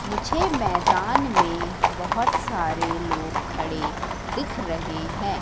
मुझे मैदान में बहोत सारे लोग खड़े दिख रहे हैं।